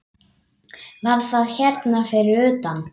Var það hérna fyrir utan?